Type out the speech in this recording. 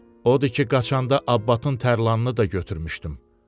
Odur ki, qaçanda abbatın tərlanını da götürmüşdüm.